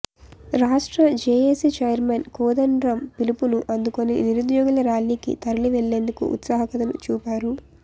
రాష్ట్ర JAC chairman Kodandaram పిలుపును అందుకొని నిరుద్యోగుల ర్యాలీకి తరిలివెళ్లేందుకు ఉత్సాహకతను చూపారు